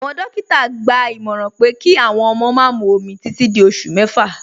Awọn dòkítà gbà ìmọ̀ràn pé kí awọn ọmọ má mú òmì títì dí ọṣù mẹ́fà.